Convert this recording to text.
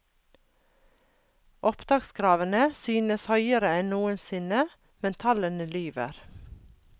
Opptakskravene synes høyere enn noensinne, men tallene lyver.